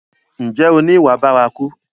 Ǹjẹ́ o ni ìwà bárakú?